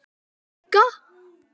Ertu að djóka!?